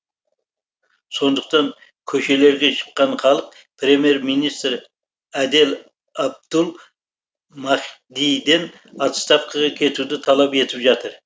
сондықтан көшелерге шыққан халық премьер министр әдел әбдул махдиден отставкаға кетуді талап етіп жатыр